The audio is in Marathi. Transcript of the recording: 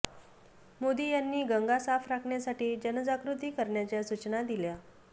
मोदी यांनी गंगा साफ राखण्यासाठी जनजागृती करण्याच्या सूचना दिल्या